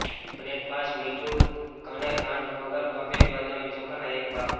breakfast મીઠું અને ખાંડ વગર બાફેલી બદામી ચોખાનો એક ભાગ